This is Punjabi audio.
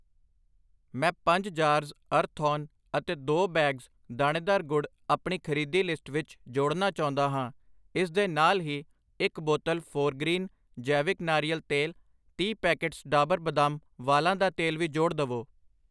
ਮੈਂ ਪੰਜ ਜਾਰਜ਼ ਅਰਥੋਨ ਅਤੇ ਦੋ ਬੈਗਜ਼, ਦਾਣੇਦਾਰ ਗੁੜ ਅਪਣੀ ਖਰੀਦੀ ਲਿਸਟ ਵਿੱਚ ਜੋੜਨਾ ਚਾਉਂਦਾ ਹਾਂ I ਇਸ ਦੇ ਨਾਲ ਹੀ ਇੱਕ ਬੋਤਲ ਫੋਰਗ੍ਰੀਨ, ਜੈਵਿਕ ਨਾਰੀਅਲ ਤੇਲ, ਤੀਹ ਪੈਕੇਟਸ ਡਾਬਰ ਬਦਾਮ ਵਾਲਾਂ ਦਾ ਤੇਲ ਵੀ ਜੋੜ ਦਵੋ I